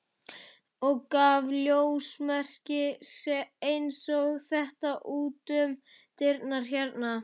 og gaf ljósmerki eins og þetta út um dyrnar hérna.